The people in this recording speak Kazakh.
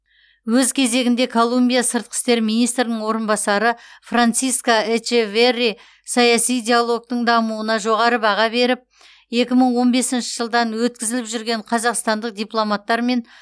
өз кезегінде колумбия сыртқы істер министрінің орынбасары франсиско эчеверри саяси диалогтың дамуына жоғары баға беріп екі мың он бесінші жылдан өткізіліп жүрген қазақстандық дипломаттар мен